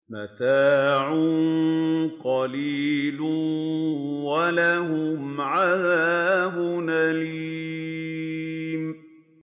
مَتَاعٌ قَلِيلٌ وَلَهُمْ عَذَابٌ أَلِيمٌ